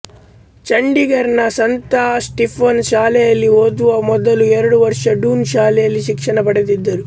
ಚಂಡೀಗರಿನ ಸಂತ ಸ್ಟೀಫೆನ್ ಶಾಲೆಯಲ್ಲಿ ಓದುವ ಮೊದಲು ಎರಡು ವರ್ಷ ಡೂನ್ ಶಾಲೆಯಲ್ಲಿ ಶಿಕ್ಷಣ ಪಡೆದಿದ್ದರು